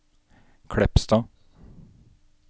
Kleppstad